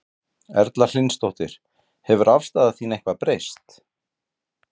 Erla Hlynsdóttir: Hefur afstaða þín eitthvað breyst?